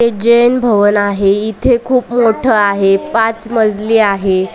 हे जैन भवन आहे इथे खूप मोठं आहे पाच मजली आहे.